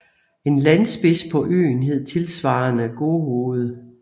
En landspids på øen hed tilsvarende Gohoved